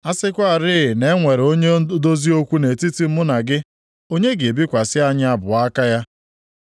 A sịkwarị na e nwere onye odozi okwu nʼetiti mụ na gị, onye ga-ebikwasị anyị abụọ aka ya,